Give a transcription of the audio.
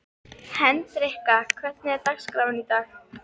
Hendrikka, hvernig er dagskráin í dag?